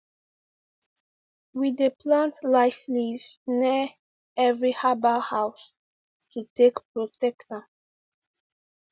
we dey plant life leaf near every herbal house to take protect am